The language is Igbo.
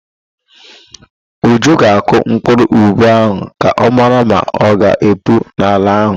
Uju ga-akụ mkpụrụ ube ahụ ka ọ mara ma ọ ga-epu n'ala ahụ.